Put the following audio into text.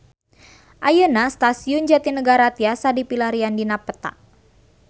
Ayeuna Stasiun Jatinegara tiasa dipilarian dina peta